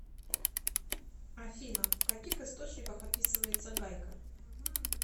афина в каких источниках описывается гайка